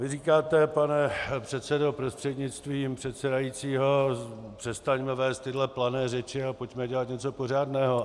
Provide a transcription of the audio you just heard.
Vy říkáte, pane předsedo prostřednictvím předsedajícího: Přestaňme vést tyto plané řeči a pojďme dělat něco pořádného.